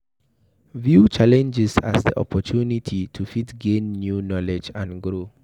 view challenges as di opportunity to fit gain new knowledge and grow